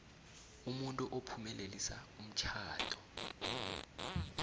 umuntu ophumelelisa umtjhado